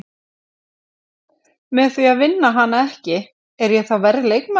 Með því að vinna hana ekki, er ég þá verri leikmaður?